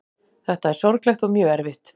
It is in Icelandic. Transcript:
Þetta er sorglegt og mjög erfitt